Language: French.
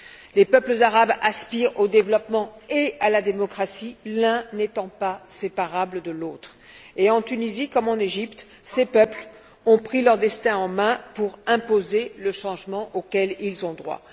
Les peuples arabes aspirent au développement et à la démocratie, l'un n'étant pas séparable de l'autre, et en Tunisie comme en Égypte, ces peuples ont pris leur destin en main pour imposer le changement auquel ils ont droit.